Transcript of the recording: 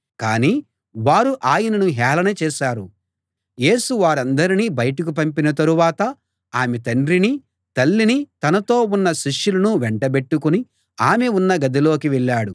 కాని వారు ఆయనను హేళన చేశారు యేసు వారందర్నీ బయటకు పంపిన తరువాత ఆమె తండ్రిని తల్లిని తనతో ఉన్న శిష్యులను వెంటబెట్టుకుని ఆమె ఉన్న గదిలోకి వెళ్ళాడు